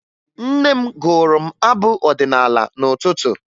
Nne m gụụrụ m abụ ọdịnaala n'ụtụtụ